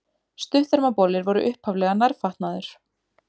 Stuttermabolir voru upphaflega nærfatnaður.